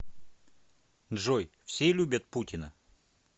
джой все любят путина